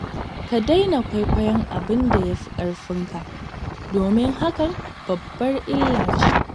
Ka daina kwaikwayon abin da ya fi ƙarfinka, domin hakan babbar illa ce.